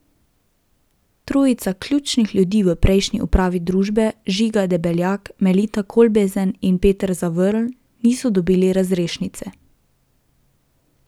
Trojica ključnih ljudi v prejšnji upravi družbe, Žiga Debeljak, Melita Kolbezen in Peter Zavrl, niso dobili razrešnice.